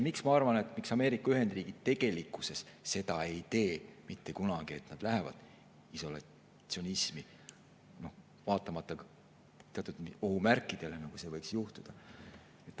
Miks ma arvan, et Ameerika Ühendriigid tegelikkuses seda mitte kunagi ei tee, et nad lähevad isolatsionismi, vaatamata teatud ohumärkidele, et see võiks juhtuda?